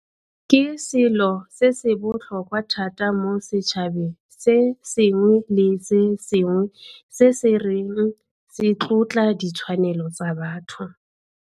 Ke selo se se botlhokwa thata mo setšhabeng se sengwe le se sengwe se se reng se tlotla ditshwanelo tsa batho.